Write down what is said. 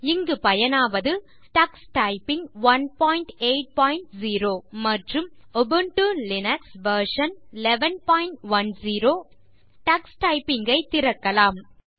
இங்கு பயனாவது Ubuntu Linux version 1110 மற்றும் டக்ஸ் டைப்பிங் 180 டக்ஸ் டைப்பிங் ஐ திறக்கலாம்